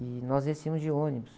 E nós descíamos de ônibus.